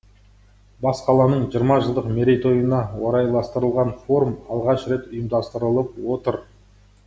бас қаланың жиырма жылдық мерейтойына орайластырылған форум алғаш рет ұйымдастырылып отыр